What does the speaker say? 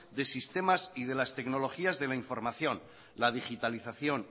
de sistemas y de las tecnologías de la información la digitalización